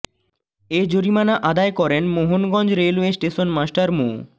এ জরিমানা আদায় করেন মোহনগঞ্জ রেলওয়ে স্টেশন মাস্টার মো